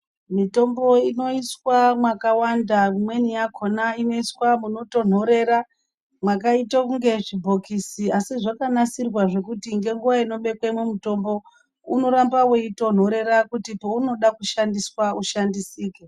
Mitombo inouswa makawanda imweni yakona munotonhorera makaita kunge zvibhokisi asi makanasirwa kuti ngenguva inorengwe mutombo unoramba weitonhorera kuti paunoda kushandiswa ushandisike.